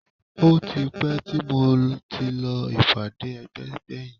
Ó ti pẹ́ tí mo ti lọ ìpàdé ẹgbẹ́ gbẹ̀yìn